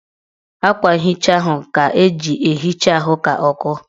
Akwa nhicha ahụ ga-eji ehicha ahụ ka ọ kọọ